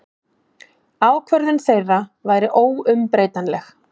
Ákvörðun þeirra væri óumbreytanleg.